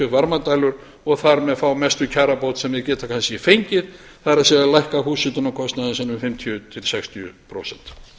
varmadælur og þar með fá mestu kjarabót sem þeir geta kannski fengið það er að lækka húshitunarkostnaðinn sinn um fimmtíu til sextíu prósent